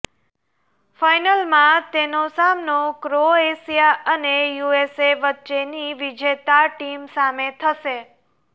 ફાઇનલમાં તેનો સામનો ક્રોએશિયા અને યુએસએ વચ્ચેની વિજેતા ટીમ સામે થશે